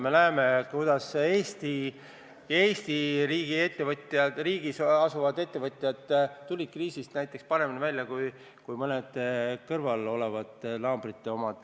Me näeme, kuidas Eesti riigi ettevõtjad, Eestis asuvad ettevõtjad tulid kriisist paremini välja kui mõnede kõrvalolevate naabrite omad.